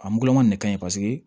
A ngulɔŋɔ ne ka ɲi paseke